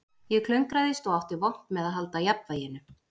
Ég klöngraðist og átti vont með að halda jafnvæginu